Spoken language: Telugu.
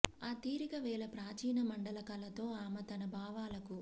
ఆ తీరిక వేళ ప్రాచీన మండల కళతో ఆమె తన భావాలకు